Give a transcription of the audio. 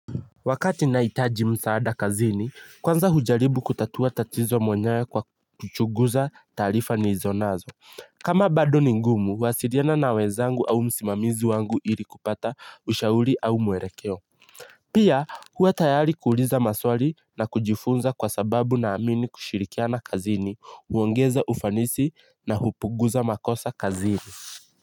Wakati nahitaji msaada kazini, kwanza hujaribu kutatua tatizo mwenyewe kwa kuchuguza taarifa nilizonazo. Kama bado ni ngumu, huwasiriana na wezangu au msimamizi wangu ili kupata ushauri au muerekeo. Pia huwa tayari kuuliza maswali na kujifunza kwa sababu naamini kushirikiana kazini, huongeza ufanisi na hupuguza makosa kazini.